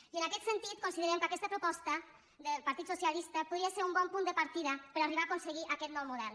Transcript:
i en aquest sentit considerem que aquesta proposta del partit socialista podria ser un bon punt de partida per arribar a aconseguir aquest nou model